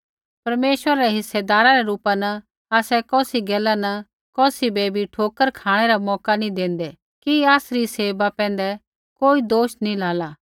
परमेश्वरा रै हिस्सेदारा रै रूपा न आसै कौसी गैला न कौसी बै भी ठोकर खाँणै रा मौका नी देन्दै कि आसरी सेवा पैंधै कोई दोष नी लाला